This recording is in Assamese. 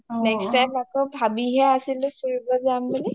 next time আকৌ ভাবিহে আছিলো ফুৰিব যাম বুলি